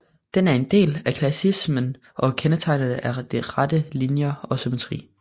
Den er en del af klassicismen og kendetegnes af rette linjer og symmetri